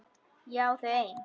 Ég á þau ein.